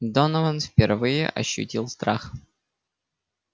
донован впервые ощутил страх